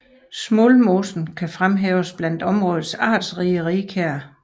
Smuldmosen kan fremhæves blandt områdets artsrige rigkær